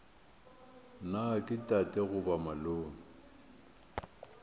na ke tate goba malome